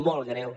molt greu